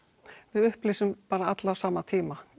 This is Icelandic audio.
við upplýsum bara alla á sama tíma